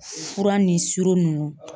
Fura ni suro nunnu.